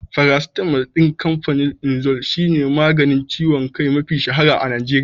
Farasitamal ɗin kamfanin imzo shi ne maganin ciwon kai mafi shahara a Najeriya.